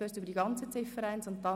Das scheint richtig zu sein.